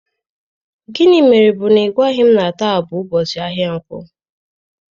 Gịnị mere bu na ị gwaghị m na taa bụ ụbọchị ahịa nkwo?